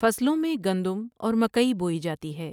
فصلوں میں گندم اور مکئی بوئی جاتی ہے ۔